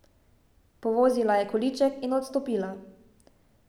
Povozila je količek in odstopila.